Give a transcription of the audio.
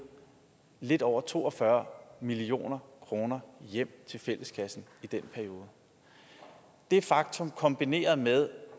lidt over to og fyrre million kroner hjem til fælleskassen det faktum kan kombinere med